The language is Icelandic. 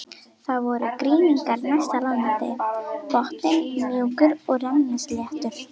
Það voru grynningar næst landi, botninn mjúkur og rennisléttur.